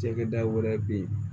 Cakɛda wɛrɛ bɛ yen